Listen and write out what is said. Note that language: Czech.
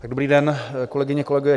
Dobrý den, kolegyně, kolegové.